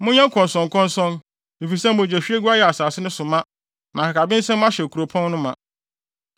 “ ‘Monyɛ nkɔnsɔnkɔnsɔn, efisɛ mogyahwiegu ayɛ asase no so ma, na akakabensɛm ahyɛ kuropɔn no ma.